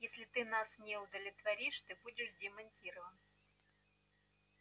если ты нас не удовлетворишь ты будешь демонтирован